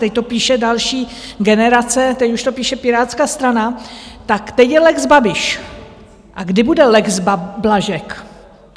Teď to píše další generace, teď už to píše Pirátská strana, tak teď je lex Babiš - a kdy bude lex Blažek?